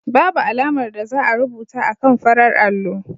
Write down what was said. Babu alamar da za a rubuta akan farar allo.